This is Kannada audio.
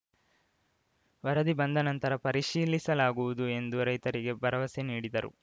ವರದಿ ಬಂದ ನಂತರ ಪರಿಶೀಲಿಸಲಾಗುವುದು ಎಂದು ರೈತರಿಗೆ ಭರವಸೆ ನೀಡಿದರು